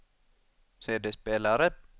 CD-spelare